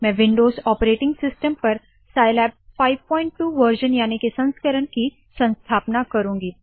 मैं Windows operating system पर Scilab 52 version याने के संस्करण की संस्थापना करुँगी